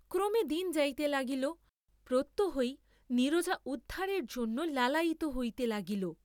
ক্রমে দিন যাইতে লাগিল, প্রত্যহই নীরজা উদ্ধারের জন্য লালায়িত হইতে লাগিল।